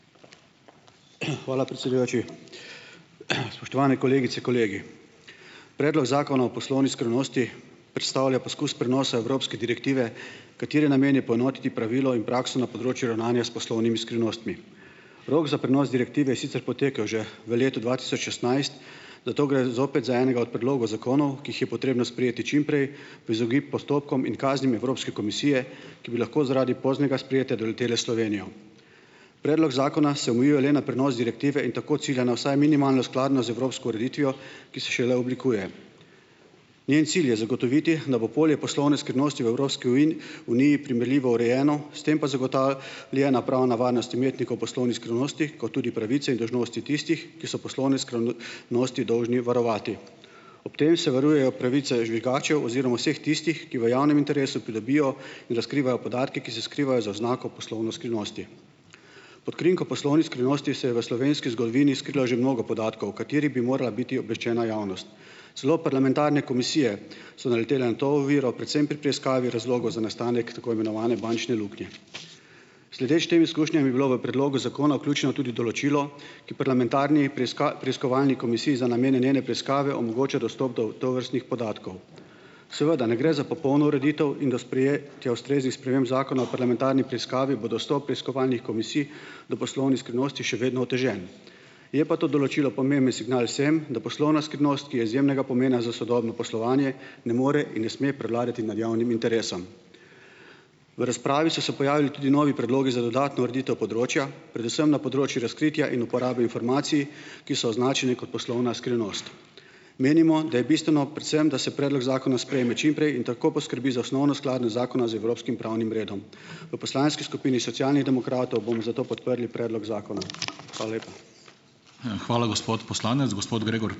hvala, predsedujoči, spoštovane kolegice, kolegi. Predlog zakona o poslovni skrivnosti predstavlja poskus prenosa evropske direktive, katere namen je poenotiti pravilo in prakso na področju ravnanja s poslovnimi skrivnostmi. Rok za prenos direktive je sicer potekel že v letu dva tisoč šestnajst, zato gre zopet za enega od predlogov zakonov, ki jih je potrebno sprejeti čimprej v izogib postopkom in kaznim Evropske komisije, ki bi lahko zaradi poznega sprejetja doletele Slovenijo. Predlog zakona se omejuje le na prenos direktive in tako cilja na vsaj minimalno skladnost z evropsko ureditvijo, ki se šele oblikuje. Njen cilj je zagotoviti, da bo polje poslovne skrivnosti v Evropski uniji primerljivo urejeno, s tem pa ljena pravna varnost imetnikov poslovnih skrivnosti kot tudi pravice in dolžnosti tistih, ki so poslovne nosti dolžni varovati, ob tem se varujejo pravice žvižgačev oziroma vseh tistih, ki v javnem interesu plebijo in da skrivajo podatke, ki se skrivajo za oznako poslovne skrivnosti. Pod krinko poslovnih skrivnosti se je v slovenski zgodovini skrilo že mnogo podatkov, o kateri bi morala biti obveščena javnost, celo parlamentarne komisije so naletele na to oviro predvsem pri preiskavi razlogov za nastanek tako imenovane bančne luknje. Sledeč tem izkušnjam je bilo v predlogu zakona ključno tudi določilo, ki parlamentarni preiskovalni komisiji za namene njene preiskave omogoča dostop do tovrstnih podatkov. Seveda ne gre za popolno ureditev in do tja ustreznih sprememb zakona o parlamentarni preiskavi bo dostop preiskovalni komisiji do poslovnih skrivnosti še vedno otežen, je pa to določilo pomemben signal vsem, da poslovna skrivnost, ki je izjemnega pomena za sodobno poslovanje, ne more in ne sme predlagati med javnim interesom. V razpravi so se pojavili tudi novi predlogi za dodatno ureditev področja, predvsem na področju razkritja in uporabe informacij, ki so označene kot poslovna skrivnost, menimo, da je bistveno predvsem, da se predlog zakona sprejme čimprej in tako poskrbi za osnovno skladnost zakona z evropskim pravnim redom. V poslanski skupini Socialnih demokratov bomo zato podprli predlog zakona. Hvala lepa. Hvala, gospod poslanec, gospod Gregor ...